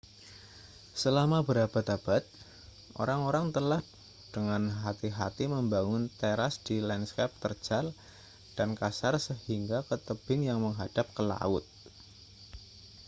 selama berabad-abad orang-orang telah dengan hati-hati membangun teras di lanskap terjal dan kasar hingga ke tebing yang menghadap ke laut